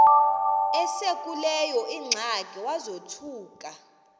esekuleyo ingxaki wazothuka